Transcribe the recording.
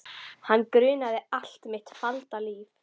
Hana grunaði allt mitt falda líf.